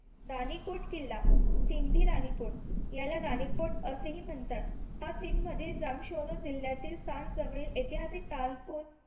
राणीकुट किल्ला सिंधी राणीकुट ह्याला रानीकोट असेही म्हणतात हा सिंध मधील जिल्ह्यातील सांग जवळील ऐतिहासिक कानपूर